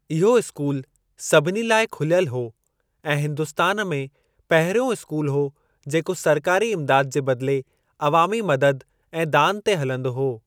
इहो स्‍कूल सभिनी लाइ खुल्‍यल हो ऐं हिंदुस्‍तान में पहिरियों स्‍कूल हो जेको सरकारी इम्दाद जे बदले, अवामी मदद ऐं दान ते हलंदो हो।